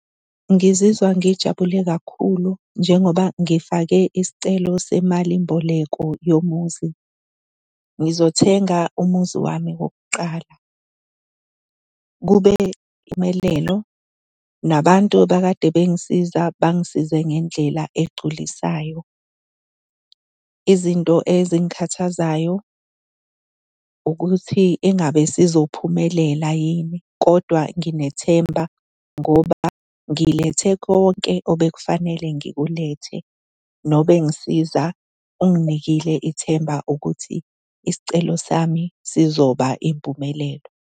Ngizizwa ngijabule kakhulu njengoba ngifake isicelo semalimboleko yomuzi. Ngizothenga umuzi wami wokuqala. Kube impumelelo, nabantu okade bengisiza bangisize ngendlela egculisayo. Izinto ezingikhathazayo ukuthi engabe sizophumelela yini. Kodwa nginethemba ngoba ngilethe konke obekufanele ngikulethe, nobengisiza unginikile ithemba ukuthi isicelo sami sizoba impumelelo.